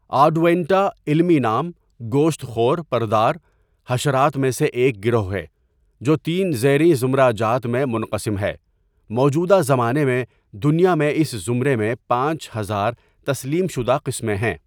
آڈونیٹا علمی نام گوشت خور پردار حشرات میں سے ایک گروه ہے جو تین زیریں زمرہ جات میں منقسم ہے موجودہ زمانے میں دنیا میں اس زمرے میں پانچ ہزار تسلیم شدہ قسمیں ہیں.